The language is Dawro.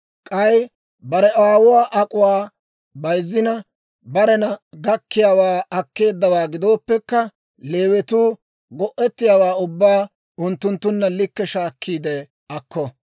K'ay bare aawuwaa ak'uwaa bayizzina, barena gakkiyaawaa akkeeddawaa gidooppekka, Leewatuu go'ettiyaawaa ubbaa unttunttunna likke shaakkiide akko.